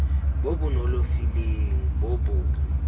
bo bo nonofileng bo bo